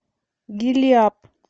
гилиап